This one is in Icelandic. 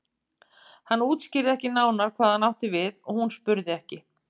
Hann útskýrði ekki nánar hvað hann átti við og hún spurði ekki.